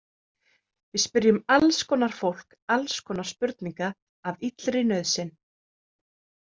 Við spyrjum alls konar fólk alls konar spurninga af illri nauðsyn.